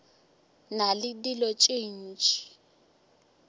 na le dilo tše dintši